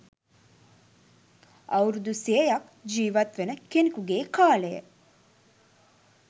අවුරුදු සියයක් ජීවත්වන කෙනෙකුගේ කාලය